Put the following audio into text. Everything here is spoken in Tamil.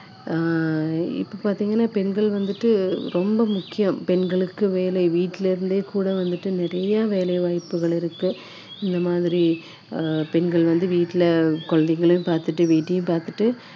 ஆஹ் இப்போ பாத்தீங்கன்னா பெண்கள் வந்துட்டு ரொம்ப முக்கியம் பெண்களுக்கு வேலை வீட்டுல இருந்தே கூட வந்துட்டு நிறைய வேலை வாய்ப்புகள் இருக்கு இந்த மாதிரி அஹ் பெண்கள் வந்து வீட்டுல குழந்தைகளையும் பார்த்துட்டு வீட்டையும் பார்த்துட்டு